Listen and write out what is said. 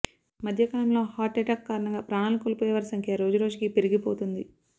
మధ్యకాలంలో heart attack కారణంగా ప్రాణాలు కోల్పోయేవారి సంఖ్య రోజు రోజుకీ పెరిగిపోతోంది